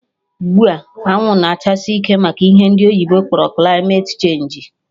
Ugbua, anwụ na-achasi ike maka ihe ndị oyibo kpọrọ kilmate chenji